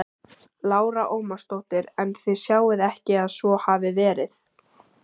Lára Ómarsdóttir: En þið sjáið ekki að svo hafi verið?